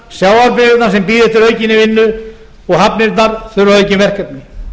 vinnslustöðvarnar sjávarbyggðirnar sem bíða eftir aukinni vinnu og hafnirnar þurfa aukin verkefni